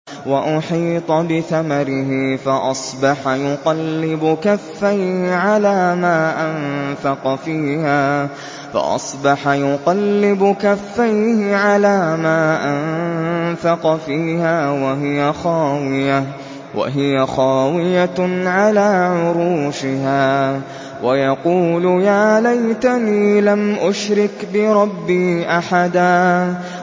وَأُحِيطَ بِثَمَرِهِ فَأَصْبَحَ يُقَلِّبُ كَفَّيْهِ عَلَىٰ مَا أَنفَقَ فِيهَا وَهِيَ خَاوِيَةٌ عَلَىٰ عُرُوشِهَا وَيَقُولُ يَا لَيْتَنِي لَمْ أُشْرِكْ بِرَبِّي أَحَدًا